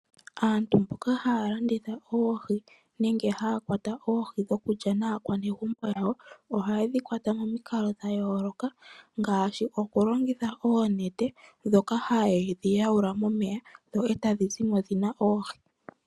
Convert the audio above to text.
Aantu mboka haya landitha oohi nenge haya kwata oohi okulya naakwanegumbo lyawo ohayedhi kwata pamikalo dhayooloka ngaashi okulongitha oonete dhika hayedhi nana momeya etadhi zimo dhatya oohi.